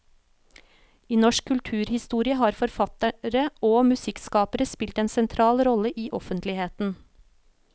I norsk kulturhistorie har forfattere og musikkskapere spilt en sentral rolle i offentligheten.